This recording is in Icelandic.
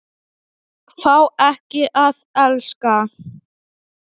Fá ekki að elska.